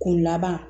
K'u laban